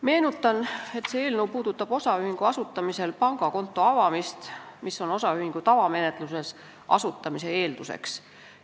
Meenutan, et see eelnõu käsitleb osaühingu asutamisel pangakonto avamist, mis on osaühingu tavamenetluses asutamise eelduseks.